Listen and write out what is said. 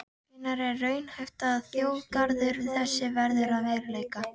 Hvenær er raunhæft að þjóðgarður þessi verði að veruleika?